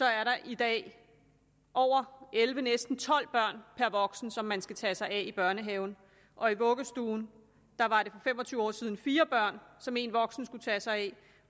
er der i dag over elleve næsten tolv børn per voksen som man skal tage sig af i børnehaven og i vuggestuen var det for fem og tyve år siden fire børn som en voksen skulle tage sig af